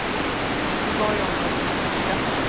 Vi var i området en vecka.